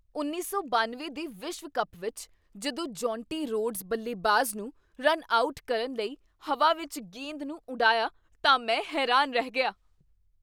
ਉੱਨੀ ਸੌ ਬਨਵੇਂ ਦੇ ਵਿਸ਼ਵ ਕੱਪ ਵਿੱਚ ਜਦੋਂ ਜੌਂਟੀ ਰੋਡਸ ਬੱਲੇਬਾਜ਼ ਨੂੰ ਰਨ ਆਊਟ ਕਰਨ ਲਈ ਹਵਾ ਵਿੱਚ ਗੇਂਦ ਨੂੰ ਉੱਡਿਆ ਤਾਂ ਮੈਂ ਹੈਰਾਨ ਰਹਿ ਗਿਆ